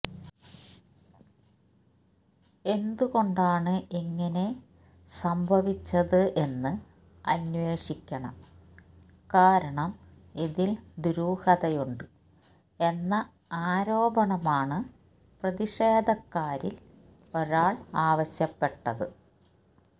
എന്ത്കൊണ്ടണ് ഇങ്ങനെ സംഭവിച്ചത് എന്ന് അന്വേശഷിക്കണം കാരണം ഇതിൽ ദുരൂഹതയുണ്ട് എന്ന ആരോപണമാണ് പ്രതിഷേധക്കാരിൽ ഒരാൾ ആവശ്യപ്പെട്ടത്